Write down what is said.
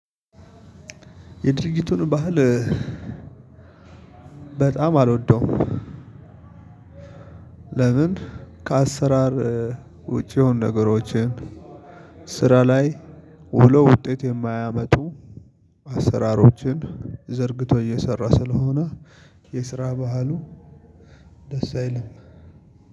የድርጊቱን ባህል በጣም አልወደውም። ለምን ከአሰራር ውጪ የሆኑ ነገሮችን፣ ስራ ላይ ውሎ ውጤት የማያመጡ አሰራሮችን ዘርግቶ እየሰራ ስለሆነ የስራ ባህሉ ደስ አይልም።